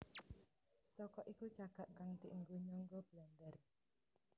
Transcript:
Saka iku cagak kang dienggo nyangga blandar